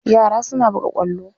Yara suna buga ƙwallo.